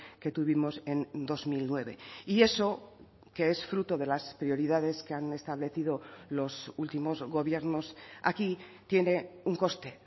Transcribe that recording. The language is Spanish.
que tuvimos en dos mil nueve y eso que es fruto de las prioridades que han establecido los últimos gobiernos aquí tiene un coste